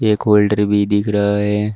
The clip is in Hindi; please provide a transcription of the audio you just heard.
एक होल्डर भी दिख रहा है।